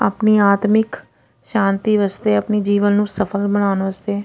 ਆਪਣੀ ਆਦਮਿਕ ਸ਼ਾਂਤੀ ਵਾਸਤੇ ਆਪਣੇ ਜੀਵਨ ਨੂੰ ਸਫਲ ਬਣਾਉਣ ਵਾਸਤੇ --